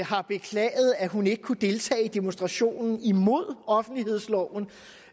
har beklaget at hun ikke kunne deltage i demonstrationen imod offentlighedsloven